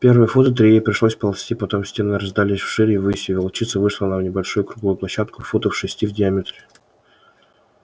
первые фута три ей пришлось ползти потом стены раздались вширь и ввысь и волчица вышла на небольшую круглую площадку футов шести в диаметре